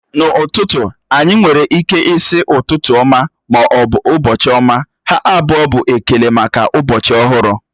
N'ụtụtụ, anyị nwere ịke ịsi ụtụtụ ọma ma ọ bụ ụbọchị ọma, ha abụọ bụ ekele maka ụbọchị ọhụrụ